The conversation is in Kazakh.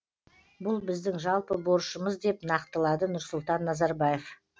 бұл біздің жалпы борышымыз деп нақтылады нұрсұлтан назарбаев